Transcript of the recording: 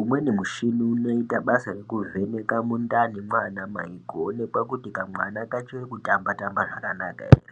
Umweni mushini unoita basa rekivheneke mundani mwana mai kuonekwa kuti kamwana kachiri kutamba tamba zvakanaka ere.